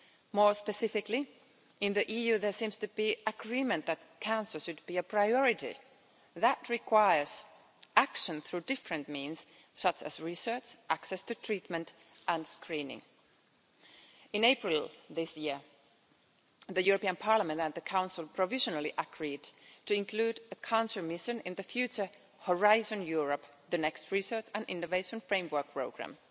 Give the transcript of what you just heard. More specifically, in the EU there seems to be agreement that cancer should be a priority. That requires action through different means such as research, access to treatment, and screening. In April this year, Parliament and the Council provisionally agreed to include a cancer mission in the future Horizon Europe, the next research and innovation framework programme.